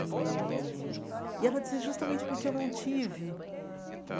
E e ela disse, justamente porque eu não tive.